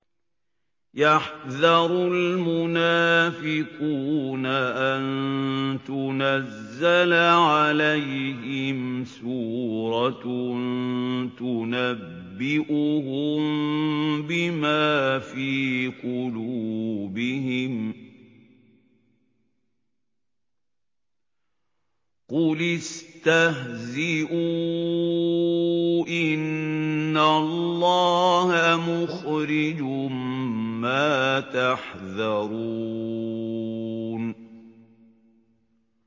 يَحْذَرُ الْمُنَافِقُونَ أَن تُنَزَّلَ عَلَيْهِمْ سُورَةٌ تُنَبِّئُهُم بِمَا فِي قُلُوبِهِمْ ۚ قُلِ اسْتَهْزِئُوا إِنَّ اللَّهَ مُخْرِجٌ مَّا تَحْذَرُونَ